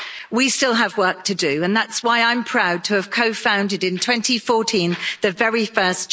We still have work to do and that's why I'm proud to have co founded, in 2014, the very first